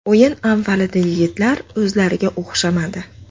O‘yin avvalida yigitlar o‘zlariga o‘xshamadi.